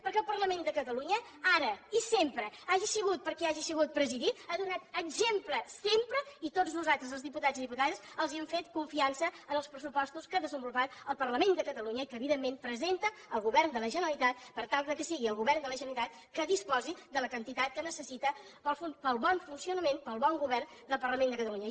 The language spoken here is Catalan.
perquè el parlament de catalunya ara i sempre hagi sigut per qui hagi sigut presidit ha donat exemple sempre i tots nosaltres els diputats i diputades els hem fet confiança en els pressupostos que ha desenvolupat el parlament de catalunya i que evidentment presenta el govern de la generalitat per tal que sigui el govern de la generalitat que disposi de la quantitat que necessita per al bon funcionament per al bon govern del parlament de catalunya